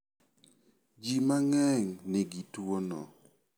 Ji mang'eny nigi tuono.